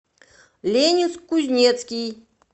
ленинск кузнецкий